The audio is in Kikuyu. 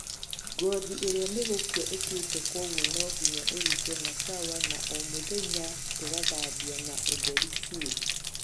ngothĩ ĩrĩa nĩgũkũa ĩkũĩte kogũo no nginya ĩrũtwo na sawa na omũthenya tũgathambĩa na ũtherũ bĩũ